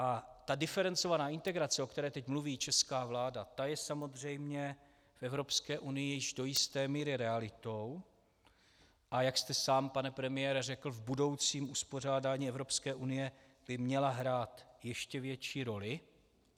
A ta diferencovaná integrace, o které teď mluví česká vláda, ta je samozřejmě v Evropské unii již do jisté míry realitou, a jak jste sám, pane premiére, řekl, v budoucím uspořádání Evropské unie by měla hrát ještě větší roli.